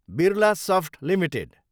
Birlasoft Ltd